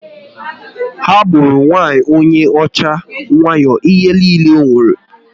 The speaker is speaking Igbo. Ha gburu nwanyị onye ọcha wayo ihe niile o nwere